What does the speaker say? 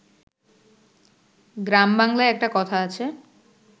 গ্রাম বাংলায় একটা কথা আছে